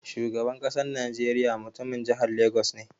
Shugaban ƙasar najeriya mutumin jihar Lagos ne.